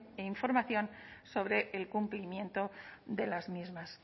información sobre el cumplimiento de las mismas